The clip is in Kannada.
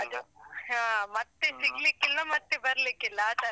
ಅದು ಮತ್ತೆ ಸಿಗಲಿಕ್ಕಿಲ್ಲ ಮತ್ತೆ ಬರ್ಲಿಕ್ಕಿಲ್ಲ ಆತರ.